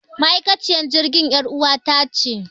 Ma'aikaciyar jirgin yar uwata ce